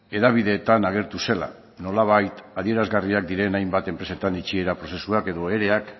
hedabideetan agertu zela nolabait adierazgarriak diren hainbat enpresetan itxiera prozesuak edo ereak